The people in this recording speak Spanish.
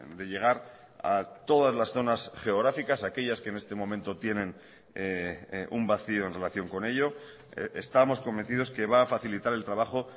de llegar a todas las zonas geográficas aquellas que en este momento tienen un vacío en relación con ello estamos convencidos que va a facilitar el trabajo